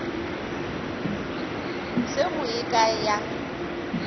se go ye kae ya